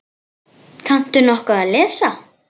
Kanntu nokkuð að lesa?